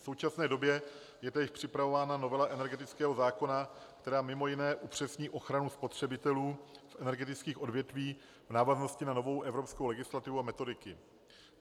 V současné době je též připravována novela energetického zákona, která mimo jiné upřesní ochranu spotřebitelů v energetických odvětvích v návaznosti na novou evropskou legislativu a metodiky.